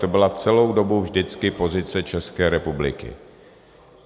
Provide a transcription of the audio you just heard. To byla celou dobu vždycky pozice České republiky.